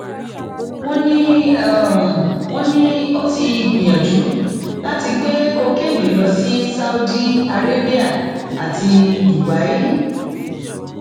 wọn ní wọn ní ó ti gbìyànjú láti gbé kokéènì lọ sí saudi arabia ti dubai